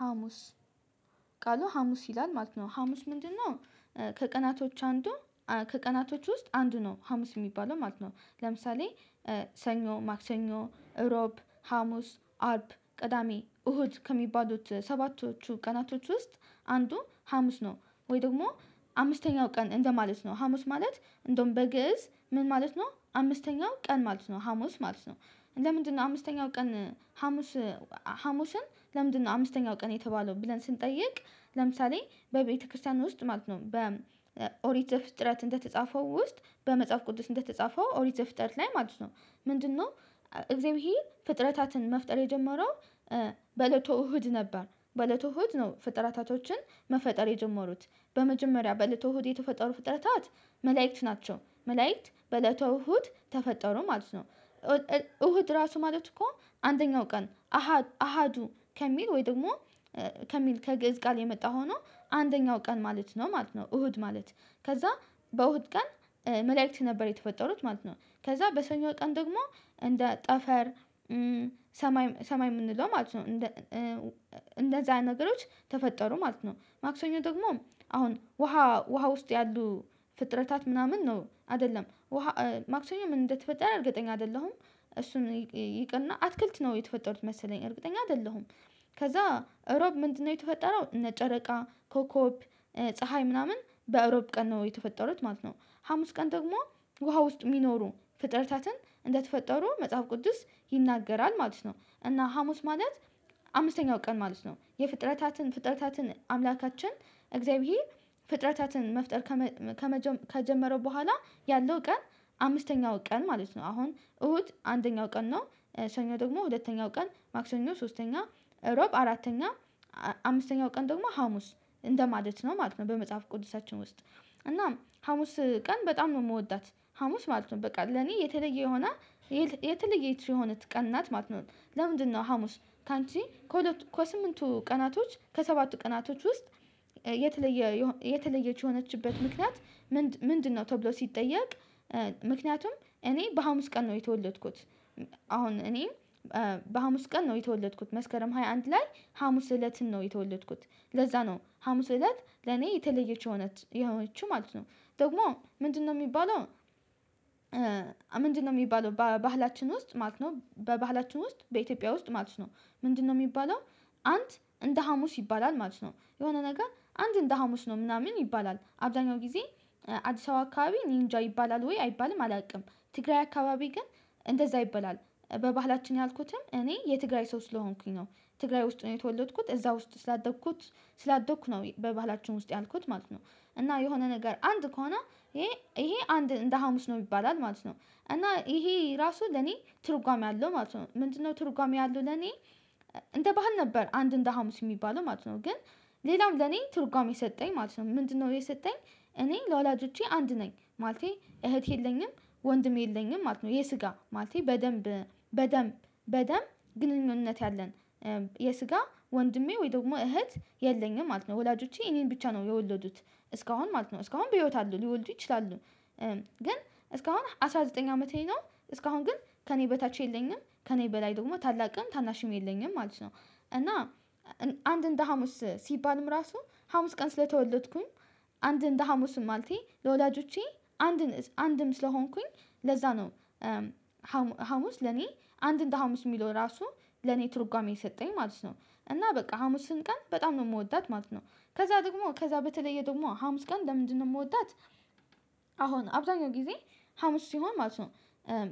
ሀሙስ ቃሉ ሀሙስ ይላል ማለት ነው ሀሙስ ምንድነው? ከቀናቶች አንዱ ከቀናቶች ውስጥ አንዱ ነው ሀሙስ የሚባለው ማለት ነው። ለምሳሌ። ሰኞ ማክሰኞ እሮብ ሀሙስ አርብ ቅዳሜ እሁድ ከሚባሉት ሰባቶቹ ቀናቶች ውስጥ አንዱ ሀሙስ ነው። ወይ ደግሞ አምስተኛው ቀን እንደማለት ነው ሀሙስ ማለት እንደውም በግእዝ ምን ማለት ነው? አምስተኛው ቀን ማለት ነው ሀሙስ ማለት ነው። ለምንድነው አምስተኛው ቀን ሀሙስ? ሀሙስን ለምንድነው አምስተኛው ቀን የተባለው ብለን ስንጠይቅ ለምሳሌ በቤተክርስቲያን ውስጥ ማለት ነው በኦሪት ፍጥረት እንደተጻፈው ውስጥ በመጽሐፍ ቅዱስ እንደተጻፈው ኦሪት ዘፍጥረት ላይ ማለት ነው። ምንድነው? እግዜአብሄር ፍጥረታትን መፍጠር የጀመረው በለቶ እሁድ ነበር። በለቶ እሁድ ነው ፍጥረታቶችን መፈጠር የጀመሩት በመጀመሪያ በለተ እሁድ የተፈጠሩ ፍጥረታት መላእክት ናቸው መላእክት በእለተ እሁድ ተፈጠሩ ማለት ነው። እሁድ ራሱ ማለት እኮ አንደኛው ቀን አሃ አሃዱ ከሚል ወይ ደግሞ። ከሚል ከግእዝ ቃል የመጣ ሆኖ አንደኛው ቀን ማለት ነው ማለት ነው። እሁድ ማለት ከዛ በእሁድ ቀን መላእክት ነበር የተፈጠሩት ማለት ነው። ከዛ በሰኞ ቀን ደግሞ እንደ ጠፈር ሰማይ የምንለው ማለት ነው። እንደዛ ነገሮች ተፈጠሩ ማለት ነው። ማክሰኞ ደግሞ አሁን ውሃ ውሃ ውስጥ ያሉ ፍጥረታት ምናምን ነው አይደለም ውሃ ማክሰኞ ምን እንደተፈጠረ እርግጠኛ አይደለሁም። እሱን ይቅርና አትክልት ነው የተፈጠሩት መሰለኝ እርግጠኛ አይደለሁም። ከዛ እሮብ ምንድነው? የተፈጠረው እነ ጨረቃ ኮኮብ ፀሀይ ምናምን በእሮብ ቀን ነው የተፈጠሩት ማለት ነው። ሀሙስ ቀን ደግሞ ውሃ ውስጥ የሚኖሩ ፍጥረታትን እንደተፈጠሩ መጽሐፍ ቅዱስ ይናገራል ማለት ነው። እና ሀሙስ ማለት። አምስተኛው ቀን ማለት ነው። የፍጥረታትን ፍጥረታትን አምላካችን እግዚአብሔር ፍጥረታትን መፍጠር ከመ ከመጀመሩ ከጀመረው በኋላ ያለው ቀን አምስተኛው ቀን ማለት ነው። አሁን እሁድ አንደኛው ቀን ነው። ሰኞ ደግሞ ሁለተኛው ቀን ማክሰኞ ሶስተኛ እሮብ አራተኛ አምስተኛው ቀን ደግሞ ሀሙስ እንደማለት ነው ማለት ነው። በመጽሐፍ ቅዱሳችን ውስጥ እናም ሀሙስ ቀን በጣም ነው የምወዳት። ሀሙስ ማለት ነው በቃ ለኔ የተለየ የሆነ የተለየ የት የሆነ ቀን ናት ማለት ነው። ለምንድነው ሀሙስ ካንቺ ከሁለቱ ከስምንቱ ቀናቶች ከሰባቱ ቀናቶች ውስጥ የተለየ የሆ የተለየች የሆነችበት ምክንያት ምንድ ምንድነው? ተብሎ ሲጠየቅ ምክንያቱም እኔ በሀሙስ ቀን ነው የተወለድኩት። አሁን እኔ በሀሙስ ቀን ነው የተወለድኩት መስከረም ሃያ አንድ ላይ ሀሙስ እለትን ነው የተወለድኩት። ለዛ ነው ሀሙስ እለት ለኔ የተለየች የሆነት የሆነችው ማለት ነው። ደግሞ ምንድነው የሚባለው? ምንድነው የሚባለው ባህላችን ውስጥ ማለት ነው በባህላችን ውስጥ በኢትዮጵያ ውስጥ ማለት ነው። ምንድነው የሚባለው? አንድ እንደ ሀሙስ ይባላል ማለት ነው የሆነ ነገር አንድ እንደ ሀሙስ ነው ምናምን ይባላል አብዛኛው ጊዜ አዲስ አበባ አካባቢ ኒንጃ ይባላል ወይ አይባልም አላውቅም። ትግራይ አካባቢ ግን እንደዛ ይበላል በባህላችን ያልኩትም እኔ የትግራይ ሰው ስለሆንኩኝ ነው። ትግራይ ውስጥ ነው የተወለድኩት እዛ ውስጥ ስላደኩት ስላደኩ ነው በባህላችን ውስጥ ያልኩት ማለት ነው። እና የሆነ ነገር አንድ ከሆነ ይሄ ይሄ አንድ እንደ ሀሙስ ነው ይባላል ማለት ነው። እና ይሄ ራሱ ለኔ ትርጓሜ አለው ማለት ነው። ምንድነው ትርጓሜ ያለው ለኔ? እንደ ባህል ነበር አንድ እንደ ሀሙስ የሚባለው ማለት ነው። ግን ሌላው ለኔ ትርጓሜ የሰጠኝ ማለት ነው። ምንድነው የሰጠኝ? እኔ ለወላጆቼ አንድ ነኝ ማለቴ እህት የለኝም። ወንድም የለኝም ማለት ነው የስጋ ማለቴ በደንብ በደም በደም ግንኙነት ያለን የስጋ ወንድሜ ወይ ደግሞ እህት የለኝም ማለት ነው። ወላጆቼ እኔን ብቻ ነው የወለዱት እስካሁን ማለት ነው እስካሁን በህይወት አሉ ሊወልዱ ይችላሉ። ግን እስካሁን አስራ ዘጠኝ አመቴ ነው። እስካሁን ግን ከእኔ በታች የለኝም ከእኔ በላይ ደግሞ ታላቅም ታናሽም የለኝም ማለት ነው። እና አንድ እንደ ሀሙስ ሲባልም ራሱ ሀሙስ ቀን ስለተወለድኩኝ አንድ እንደ ሀሙስም ማለቴ ለወላጆቼ አንድ አንድም ስለሆንኩኝ ለዛ ነው። ሀሙስ ለኔ አንድ እንደ ሀሙስ የሚለው ራሱ ለኔ ትርጓሜ የሰጠኝ ማለት ነው። እና በቃ ሀሙስን ቀን በጣም ነው ምወዳት ማለት ነው። ከዛ ደግሞ ከዛ በተለየ ደግሞ ሀሙስ ቀን ለምንድነው የምወዳት? አሁን አብዛኛው ጊዜ ሀሙስ ሲሆን ማለት ነው።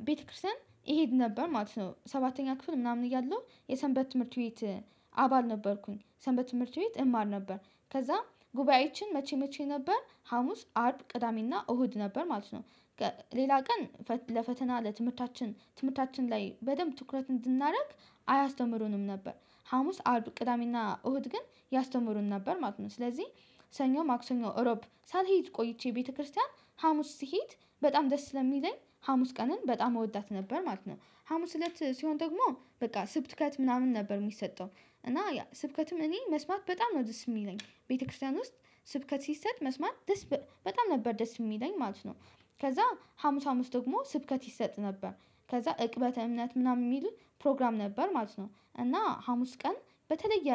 ቤተክርስቲያን ይሄድ ነበር ማለት ነው ሰባተኛ ክፍል ምናምን እያለሁ የሰንበት ትምህርት ቤት። አባል ነበርኩኝ ሰንበት ትምህርት ቤት እማር ነበር። ከዛ ጉባኤችን መቼ መቼ ነበር ሀሙስ አርብ ቅዳሜና እሁድ ነበር ማለት ነው። ሌላ ቀን ለፈተና ለትምህርታችን ትምህርታችን ላይ በደንብ ትኩረት እንድናደርግ አያስተምሩንም ነበር። ሀሙስ አርብ ቅዳሜና እሁድ ግን ያስተምሩን ነበር ማለት ነው። ስለዚህ ሰኞ ማክሰኞ እሮብ ሳልሄድ ቆይቼ ቤተክርስቲያን ሀሙስ ስሄድ በጣም ደስ ስለሚለኝ ሀሙስ ቀንን በጣም እወዳት ነበር ማለት ነው። ሀሙስ ለት ሲሆን ደግሞ በቃ ስብከት ምናምን ነበር የሚሰጠው እና ያ ስብከትም እኔ መስማት በጣም ነው ደስ የሚለኝ ቤተክርስቲያን ውስጥ ስብከት ሲሰጥ መስማት ደስ በጣም ነበር ደስ የሚለኝ ማለት ነው። ከዛ ሀሙስ ሀሙስ ደግሞ ስብከት ይሰጥ ነበር። ከዛ እቅበተ እምነት ምናምን የሚል ፕሮግራም ነበር ማለት ነው እና ሀሙስ ቀን በተለየ